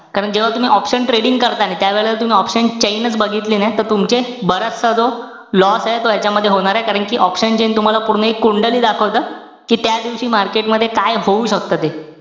कारण जेव्हा तुम्ही option trading करता आणि त्यावेळेला तुम्ही option cjain च बघितली नाही. त तुमचे बराचसा जो loss ए तो ह्यांच्यामध्ये होणारे. कारण कि, option chain तूम्हाला पूर्ण एक कुंडलीच दाखवतं. कि त्या दिवशी market मध्ये काय होऊ शकतं ते.